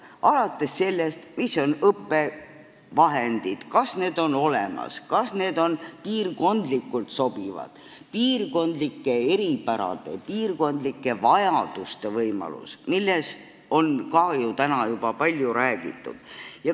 Alates sellest, mis on õppevahendid, kas need on olemas, kas need on piirkondlikult sobivad, milline on piirkondlike eripärade ja vajaduste arvestamise võimalus, millest on ka ju täna juba palju räägitud.